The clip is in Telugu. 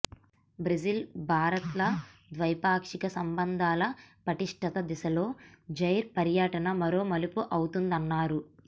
బ్రెజిల్ భారత్ల ద్వైపాక్షిక సంబంధాల పటిష్టత దిశలో జైర్ పర్యటన మరో మలుపు అవుతుందన్నారు